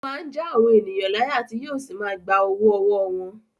Ó máa ń já àwọn ènìyàn láyà tí yóò sì máa gba owó ọwọ́ wọn.